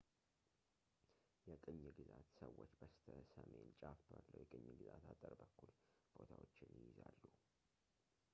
የቅኝ ግዛት ሰዎች በስተሰሜን ጫፍ ባለው የቅኝ ግዛት አጥር በኩል ቦታዎችን ይይዛሉ